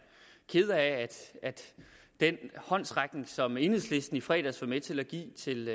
ked af at den håndsrækning som enhedslisten i fredags var med til at give til